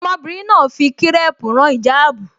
Ọmọbìnrin náà fi kírẹ́ẹ̀pù rán ìjáàbù